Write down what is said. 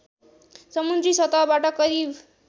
समुद्री सतहबाट करिब